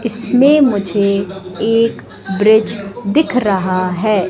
इसमें मुझे एक ब्रिज दिख रहा हैं।